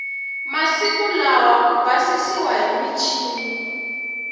masiku lawa ka basisiwa hi michini